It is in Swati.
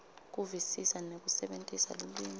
kuvisisa nekusebentisa lulwimi